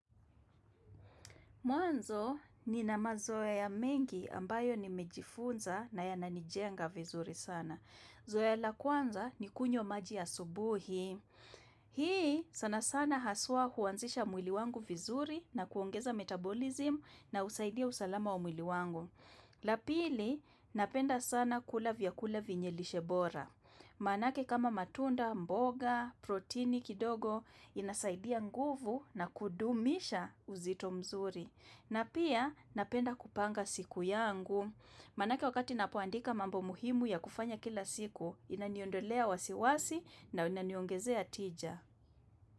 Mwanzo ninamazoea mengi ambayo nimejifunza na yananijenga vizuri sana. Zoea la kwanza ni kunywa maji ya asubuhi. Hii sana sana haswa huanzisha mwili wangu vizuri na kuongeza metabolism na husaidia usalama wa mwili wangu. La pili, napenda sana kula vyakula vinye lishebora. Maanake kama matunda, mboga, protini kidogo, inasaidia nguvu na kuudumisha uzito mzuri. Na pia napenda kupanga siku yangu. Manake wakati napoandika mambo muhimu ya kufanya kila siku, inaniondolea wasiwasi na inaniongezea ticha.